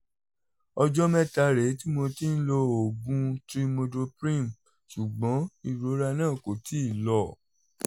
ọjọ́ mẹ́ta rèé tí mo ti ń lo oògùn trimethoprim ṣùgbọ́n ìrora náà kò tíì lọ